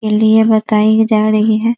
बताई जा रही है।